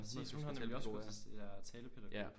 Præcis hun har nemlig også gået til det der talepædagog